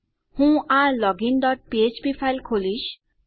હું આ login dot ફ્ફ્પ ફાઈલ ખોલીશ